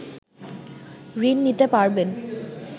ঋণ নিতে পারবেন